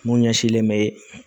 Mun ɲɛsinlen bɛ